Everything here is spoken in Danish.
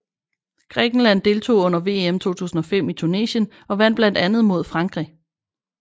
Grækenland deltog under VM 2005 i Tunesien og vandt blandt andet mod Frankrig